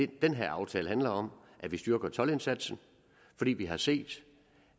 den her aftale handler om at vi styrker toldindsatsen fordi vi har set